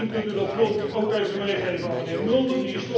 Misschien kunt u dat punt ook even meegeven aan meneer Mulder.